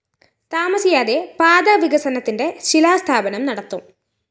താമസിയാതെ പാത വികസനത്തിന്റെ ശിലാസ്ഥാപനം നടത്തും